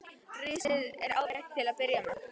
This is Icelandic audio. Risið er ágætt til að byrja með.